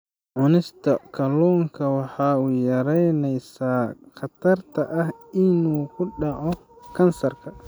Cunista kalluunka waxay yaraynaysaa khatarta ah inuu ku dhaco kansarka.